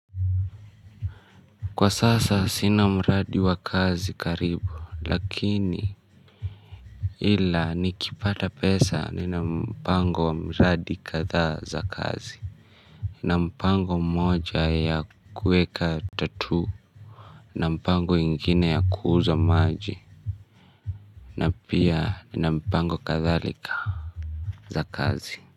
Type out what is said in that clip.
Kwa sasa sina mradi wa kazi karibu lakini ila nikipata pesa nina mpango wa mradi kathaa za kazi. Nina mpango mmoja ya kuweka tattoo na mpango ingine ya kuuza maji. Na pia nina mpango kathalika za kazi.